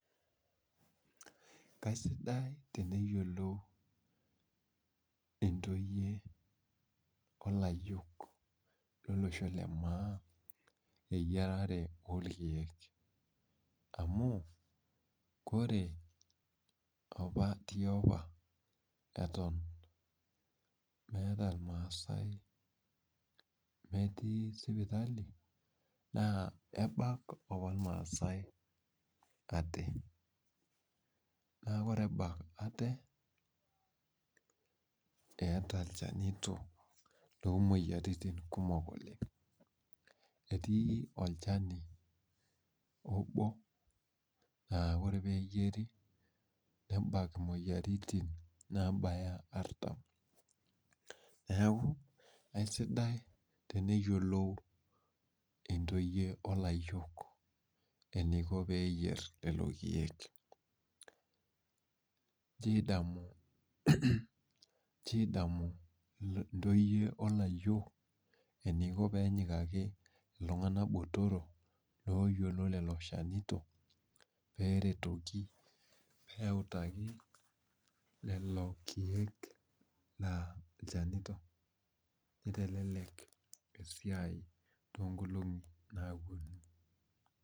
Kaisidai teneyiolou intoyie o lqyiok lolosho le maa eyierare oorkiek amu kore opa tiopa eton meeta irmaasai, metii sipitali naa ebak opa irmaasai ate. Naa ore ebak ate, eeta ilchanito loomwoyiaritin kumok oleng. Etii olchani obo laa ore ore peeyieri nebak imwoyiaritin naabaya artam. Neeku aisidai teneyiolou intoyie o layiok eniko peeyierr lelo kiek. Inchoo idamu intoyie o layiok eniko peenyikaki iltung'anak botorok looyiolo lelo shanito pee eretoki pee eutaki lelo kiek laa ilchanito nitelelek esia toonkolong'i naapwonu